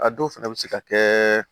A dɔw fɛnɛ bɛ se ka kɛ